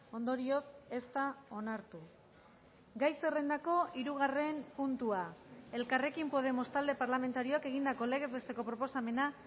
ondorioz ez da onartu gai zerrendako hirugarren puntua elkarrekin podemos talde parlamentarioak egindako legez besteko proposamena